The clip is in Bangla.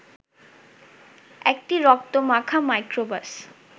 একটি রক্তমাখা মাইক্রোবাস